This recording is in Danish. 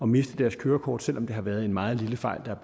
miste deres kørekort selv om det her har været en meget lille fejl der er